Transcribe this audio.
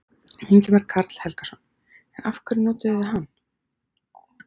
Ingimar Karl Helgason: En af hverju notuðuð þið hann?